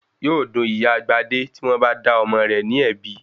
Yóò dun Ìyá Gbadé tí wọ́n bá dá ọmọ rẹ̀ ní ẹ̀bi.